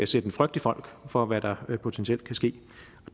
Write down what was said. sætte en frygt i folk for hvad der potentielt kan ske